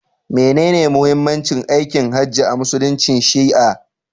Menene muhimmancin aikin hajji a musuluncin shi'a?